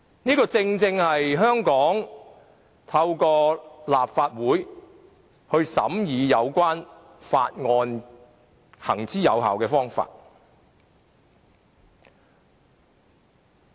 這亦正是香港透過立法會審議有關法案的一個行之有效的做法。